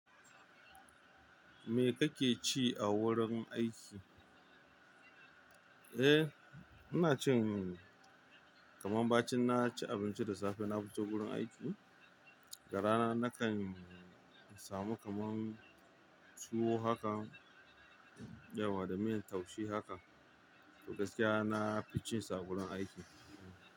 Me kake ci a wurin aiki? Eh, ina cin kaman ba cin na ci abinci da safe na fita wurin aiki, da rana na kan samu kaman tuwo haka dayawa da miyan taushe haka. Gaskiya nafi cin su a wurin aiki.